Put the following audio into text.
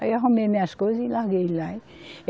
Aí eu arrumei minhas coisa e larguei ele lá.